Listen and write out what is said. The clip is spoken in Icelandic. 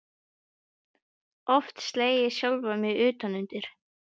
Oft slegið sjálfan mig utan undir.